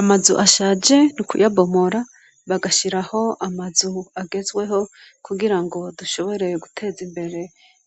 Amazu ashaje niukuya bomora bagashiraho amazu agezweho kugira ngo dushoboreye guteza imbere